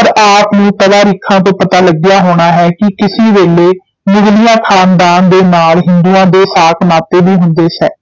ਔਰ ਆਪ ਨੂੰ ਤਵਾਰੀਖਾਂ ਤੋਂ ਪਤਾ ਲੱਗਿਆ ਹੋਣਾ ਹੈ ਕਿ ਕਿਸੀ ਵੇਲੇ ਮੁਗ਼ਲੀਆ ਖ਼ਾਨਦਾਨ ਦੇ ਨਾਲ ਹਿੰਦੂਆਂ ਦੇ ਸਾਕ ਨਾਤੇ ਵੀ ਹੁੰਦੇ ਸੇ,